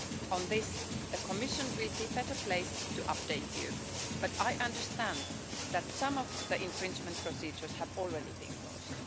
On this, the Commission will be better placed to update you, but I understand that some of the infringement procedures have already been closed.